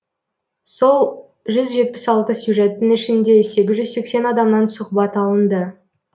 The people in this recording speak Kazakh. сол жүз жетпіс алты сюжеттің ішінде сегіз жүз сексен адамнан сұхбат алынды